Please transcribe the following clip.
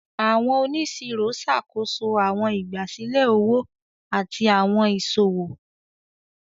Àwọn oniṣiro ṣàkóso àwọn ìgbàsílẹ̀ òwò àti àwọn iṣowo.